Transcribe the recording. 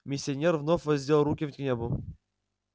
миссионер вновь воздел руки к небу